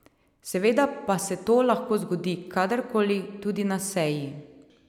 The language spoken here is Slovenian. Seveda pa se to lahko zgodi kadar koli, tudi na seji.